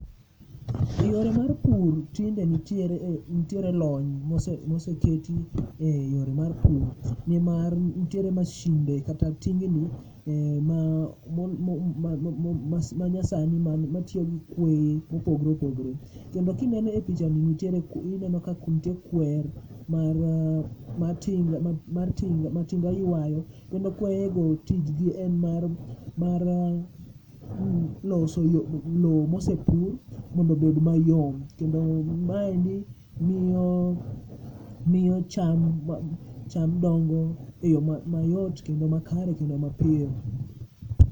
Yore mar pur tinde nitiere lony moseketi e yore mar pur nimar nitiere mashinde kata tingni ma mo ma nyasani ma tiyo gi kweye mopogre opogore. Joma kineno e pichani nitiere ineno ka nitie kwer mar ma mar tinga ma tinga ywayo, kendo kweyego tijgi en mar mar loso yo lo mosekunyo mondobed mayom. Kendo mae miyo cham dongo piyo mayot kendo makare kendo mapiyo.